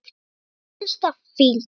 Mér finnst það fínt.